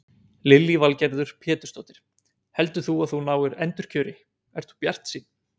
Lillý Valgerður Pétursdóttir: Heldur þú að þú náir endurkjöri, ert þú bjartsýnn?